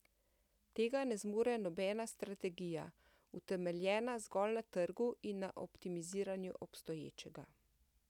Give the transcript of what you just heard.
Tega ne zmore nobena strategija, utemeljena zgolj na trgu in na optimiziranju obstoječega.